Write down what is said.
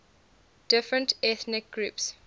different ethnic groups